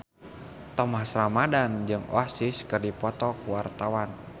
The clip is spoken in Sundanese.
Thomas Ramdhan jeung Oasis keur dipoto ku wartawan